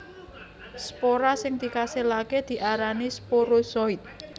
Spora sing dikasilaké diarani sporozoid